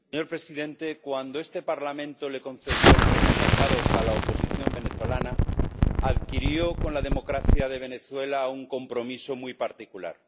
Señor presidente, cuando este Parlamento concedió el Premio Sájarov a la oposición venezolana, adquirió con la democracia de Venezuela un compromiso muy particular.